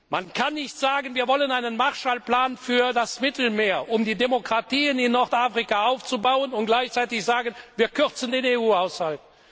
Europas. Man kann nicht sagen Wir wollen einen Marshall Plan für das Mittelmeer, um die Demokratien in Nordafrika aufzubauen und gleichzeitig sagen Wir kürzen den EU Haushalt.